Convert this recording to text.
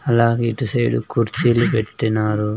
అలాగే ఇటు సైడ్ కుర్చీలు పెట్టినారు.